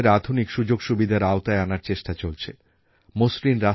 তাঁর এই স্বপ্নকে পাথেয় করে আজ দেশে স্মার্টসিটিসমিশন এবং নগরায়ণ প্রকল্প শুরু হয়ে গেছে